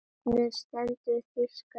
Örninn stendur fyrir þýska ríkið.